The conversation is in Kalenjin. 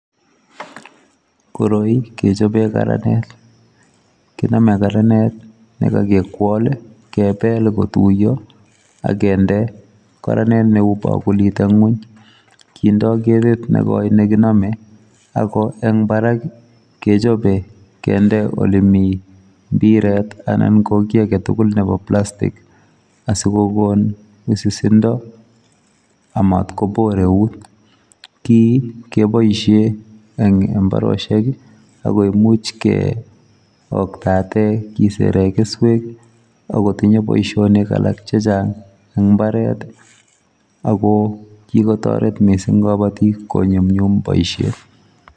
Koroi kechobe karanet, kinome karanet ne kakekwol ii, kebel kotuiyo ak kende karanet neu bakulit eng nguny, kindoi ketit ne koi ne kinome ako eng barak ii, kechobe kende olemi mpiret anan ko kiy ake tugul nebo plastic asi kokon wisisindo amat kobor eut, kii keboisie eng mbarosiek ii ako imuch keoktate kisere keswek, ak kotinye boisionik alak che chang eng mbaret ii, ako kikotoret mising kabotik konyumnyum boisiet.